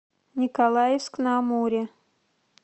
николаевск на амуре